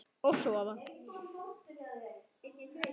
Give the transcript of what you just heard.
Og sofa.